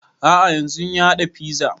A'a yanzun ya haɗa fiza